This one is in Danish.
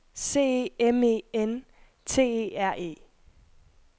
C E M E N T E R E